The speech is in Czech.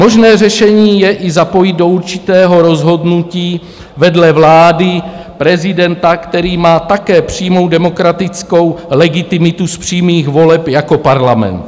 Možné řešení je i zapojit do určitého rozhodnutí vedle vlády prezidenta, který má také přímou demokratickou legitimitu z přímých voleb jako parlament.